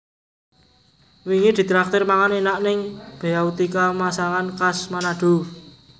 Wingi ditraktir mangan enak ning Beautika Masakan Khas Manado